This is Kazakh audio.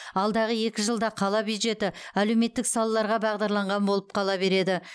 алдағы екі жылда қала бюджеті әлеуметтік салаларға бағдарланған болып қала береді